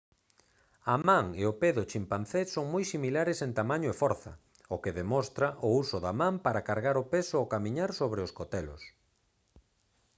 a man e o pé do chimpancé son moi similares en tamaño e forza o que demostra o uso da man para cargar o peso ao camiñar sobre os cotelos